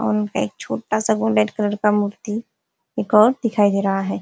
और उनपे एक छोटा सा गोल्डेन कलर का मूर्ति एक और दिखाई दे रहा है।